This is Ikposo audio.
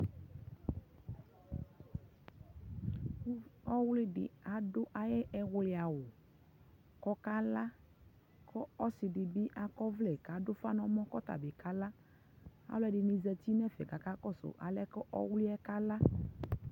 ɔwli di adʋ ayi ɛwli awʋ kʋ ɔkala, ɔsii dibi akɔ ɔvlɛ kʋ adʋ ʋƒa nʋɛmɔ kʋ ɔka la, alʋɛdini bi zati nʋ ɛƒɛ kʋ aka kɔsʋ alɛnɛ ɔwliɛ kala